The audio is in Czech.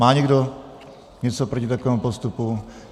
Má někdo něco proti takovému postupu?